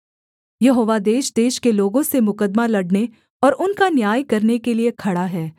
यहोवा देशदेश के लोगों से मुकद्दमा लड़ने और उनका न्याय करने के लिये खड़ा है